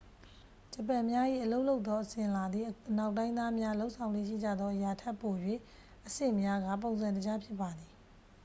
ဂျပန်များ၏အလုပ်လုပ်သောအစဉ်အလာသည် အနောက်တိုင်းသားများ လုပ်ဆောင်လေ့ရှိကြသောအရာထက် ပို၍အဆင့်များကာ ပုံစံတကျ ဖြစ်ပါသည်